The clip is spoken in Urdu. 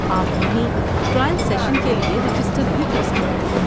آپ وہیں ٹرائل سیشن کے لیے رجسٹر بھی کر سکتے ہیں۔